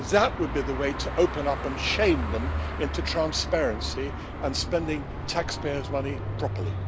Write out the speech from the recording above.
That would be the way to open up and shame them into transparency and spending taxpayers' money properly.